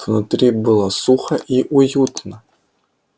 внутри было сухо и уютно